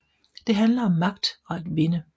Det handler om magt og at vinde